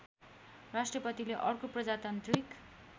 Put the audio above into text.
राष्ट्रपतिले अर्को प्रजातान्त्रिक